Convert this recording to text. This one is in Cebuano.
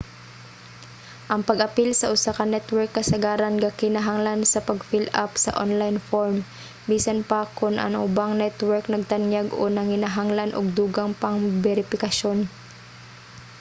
ang pag-apil sa usa ka network kasagaran gakinahanglan sa pag fill-up sa online form; bisan pa kon ang ubang network nagtanyag o nanginahanglan og dugang pang beripikasyon